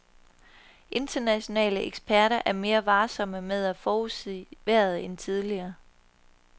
Internationale eksperter er mere varsomme med at forudsige vejret end tidligere.